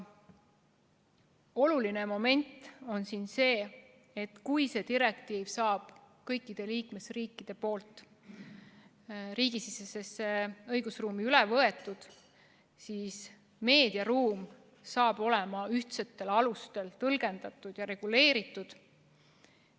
Oluline moment on siin see, et kui see direktiiv saab kõikide liikmesriikide riigisisesesse õigusruumi üle võetud, siis saab kõigi nende meediaruumi ühtsetel alustel tõlgendada ja reguleerida.